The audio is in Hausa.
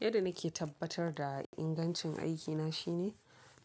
Yadda nake tabbatar da ingancin aikina shine